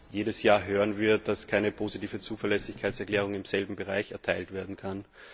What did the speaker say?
Jedes Jahr hören wir, dass keine positive Zuverlässigkeitserklärung im selben Bereich erteilt werden kann.